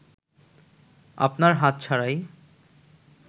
আপনার হাত ছাড়াই